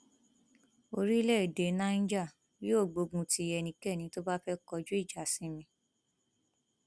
orílẹèdè niger yóò gbógun ti ẹnikẹni tó bá fẹẹ kọjú ìjà sí mi